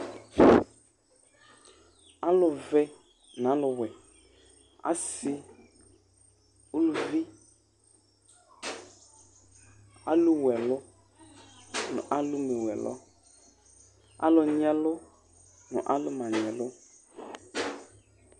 alu vɛ nu alu wɛ asi uluvi alu wuɛlu nu alu mé wuɛlu alu nyiɛlu nu alu manyiɛlu